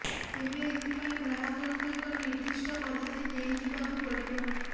ତେବେ ଏଥିପାଇଁ ଗ୍ରାହକଙ୍କୁ ଏକ ନିଦ୍ଦିଷ୍ଟ ପଦ୍ଧତି ଦେଇ ଯିବାକୁ ପଡିବ